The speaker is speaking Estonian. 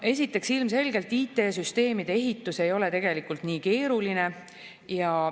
Esiteks, ilmselgelt ei ole IT-süsteemide ehitus tegelikult nii keeruline.